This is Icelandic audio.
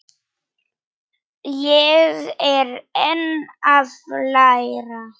Ég er enn að læra.